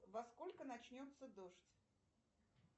во сколько начнется дождь